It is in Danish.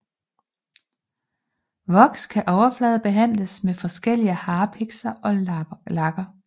Voks kan overfladebehandles med forskellige harpikser og lakker